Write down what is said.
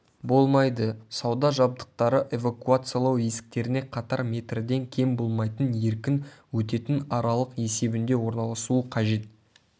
болмайды сауда жабдықтары эвакуациялау есіктеріне қатар метрден кем болмайтын еркін өтетін аралық есебінде орналасуы қажет